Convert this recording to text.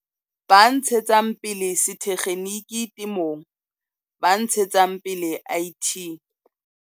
Ba ntshetsang pele Sethekgenike Temong. Ba ntshetsang pele IT.